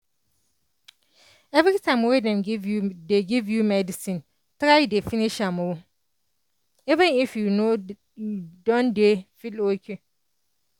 everytime wen dem give you medicine try dey finish am o even if you don dey feel ok